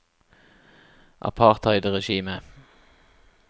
apartheidregimet